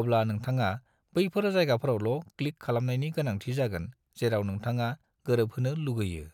अब्ला नोंथाङा बैफोर जायगाफोरावल' क्लिक खालामनायनि गोनांथि जागोन जेराव नोंथाङा गोरोबहोनो लुगैयो।